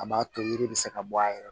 A b'a to yiri bɛ se ka bɔ a yɛrɛ la